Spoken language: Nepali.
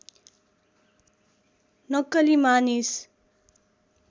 नक्कली मानिस